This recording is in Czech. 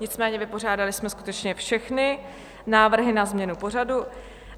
Nicméně vypořádali jsme skutečně všechny návrhy na změnu pořadu.